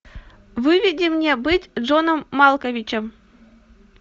выведи мне быть джоном малковичем